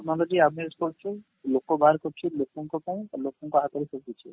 ଆମେ use କରୁଛୁ ଲୋକ ବାହାର କରୁଛି ଲୋକଙ୍କ ପାଇଁ ଆଉ ଲୋକଙ୍କ ହାତରେ